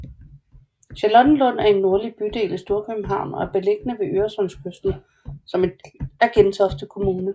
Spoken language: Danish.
Charlottenlund er en nordlig bydel i Storkøbenhavn og er beliggende ved Øresundskysten som en del af Gentofte Kommune